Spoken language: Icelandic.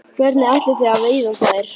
Hvernig ætlið þið að veiða þær?